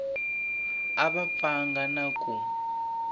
a va pfanga na ku